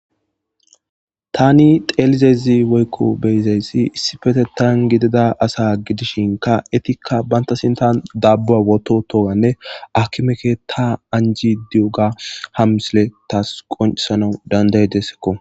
Tani xeelizezi woykko beyizayssi issi petettan gidida asa gidishinka etikka banta sinta dabba woto toganne akimeke ta anji di'oga hammisile taas qoncisanau dandaydessekko.